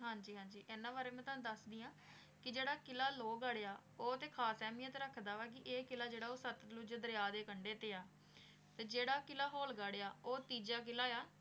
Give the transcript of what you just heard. ਹਾਂਜੀ ਹਾਂਜੀ ਇਨਾਂ ਬਾਰੇ ਵੀ ਤਨੁ ਦਾਸਨਿ ਆਂ ਕੇ ਜੇਰਾ ਕਿਲਾ ਲੋ ਗਢ਼ ਆਯ ਆ ਊ ਤੇ ਖਾਸ ਏਹ੍ਮੀਅਤ ਰਖਦਾ ਵਾ ਕੇ ਈਯ ਕਿਲਾ ਜੇਰਾ ਵਾ ਊ ਸਤ ਗੁਰੂ ਦਰਯਾ ਦੇ ਕੰਡੇ ਤੇ ਆ ਤੇ ਜੇਰਾ ਕਿਲਾ ਹੋਲ ਗਢ਼ ਆਯ ਆ ਊ ਤੀਜਾ ਕਿਲਾ ਆਯ ਆ